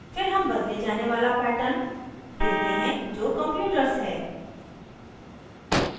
फिर हम बदले जाने वाला pattern देते हैं जो computers है